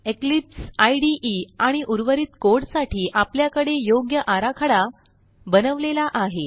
Eclipse IDE आणि उर्वरित code साठी आपल्याकडे योग्य आराखडा बनवलेला आहे